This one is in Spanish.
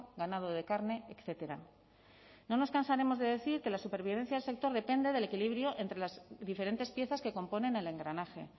ganado de carne etcétera no nos cansaremos de decir que la supervivencia del sector depende del equilibrio entre las diferentes piezas que componen el engranaje